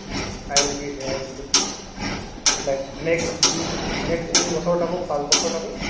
i will be here only like next দুই next তিনি বছৰ থাকো পাঁচ বছৰ থাকো